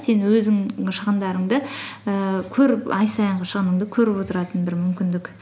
сен өзің шығындарыңды ііі көріп ай сайын шығыныңды көріп отыратын бір мүмкіндік